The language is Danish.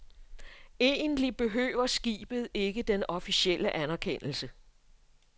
Egentlig behøver skibet ikke den officielle anerkendelse.